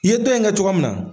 I ye dɔ in kɛ cogoya mun na.